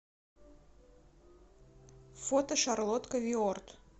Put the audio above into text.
фото шарлотка виорд